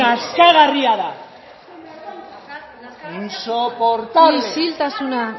nazkagarria da insoportable isiltasuna